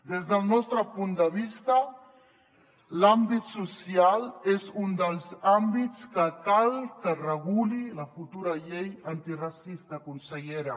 des del nostre punt de vista l’àmbit social és un dels àmbits que cal que reguli la futura llei antiracista consellera